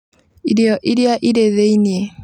Irio iria irĩ thĩinĩ